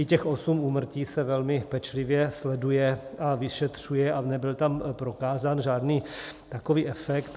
I těch 8 úmrtí se velmi pečlivě sleduje a vyšetřuje a nebyl tam prokázán žádný takový efekt.